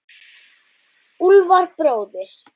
Úlfar bróðir.